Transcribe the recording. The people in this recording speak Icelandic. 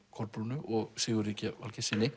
Kolbrúnu og Sigurði g Valgeirssyni